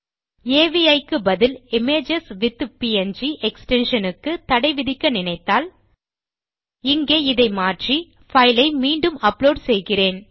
அவி க்கு பதில் images with PNG extension க்குத் தடை விதிக்க நினைத்தால் இங்கே இதை மாற்றி பைல் ஐ மீண்டும் அப்லோட் செய்கிறேன்